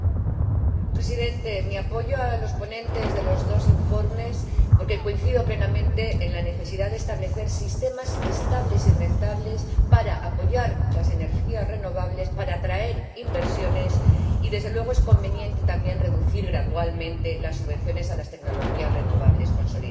Señor Presidente, mi apoyo a los ponentes de los dos informes porque coincido plenamente con la necesidad de establecer sistemas estables y rentables para apoyar las energías renovables, para atraer inversiones, y, desde luego, con que es conveniente también reducir gradualmente las subvenciones a las tecnologías renovables consolidadas.